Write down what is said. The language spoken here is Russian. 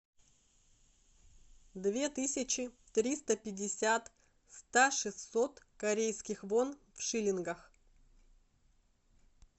две тысячи триста пятьдесят ста шестьсот корейских вон в шиллингах